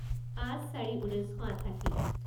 পাঁচ চাৰি ঊনৈছ শ আঠাশী